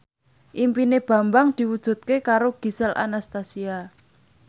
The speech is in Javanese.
impine Bambang diwujudke karo Gisel Anastasia